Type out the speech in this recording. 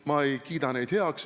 Ma ei kiida neid heaks.